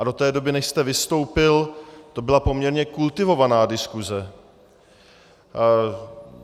A do té doby, než jste vystoupil, to byla poměrně kultivovaná diskuse.